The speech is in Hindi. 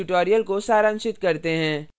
अब इस tutorial को सारांशित करते हैं